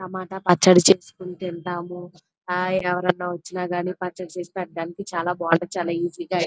టమాటా పచ్చడి చేసుకుంటే ఎంత బాగుంటది హాయ్ ఎవరన్న వచ్చిన గాని టమాటా పచ్చడి చేసి పెట్టడానికి చాలా బాగుంటది ఈసీ గా ఉంటది.